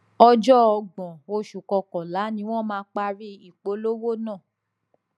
ọjọ ọgbọn oṣù kọkànlá ni wọn máa parí ìpolówó náà